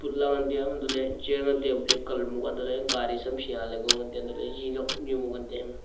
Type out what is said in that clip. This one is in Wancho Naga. elah ley ngan tai a hantoh ley chair ngan tai a black colour gaari cham sha ko ngan tai a ji nok am chu ema ngantai a.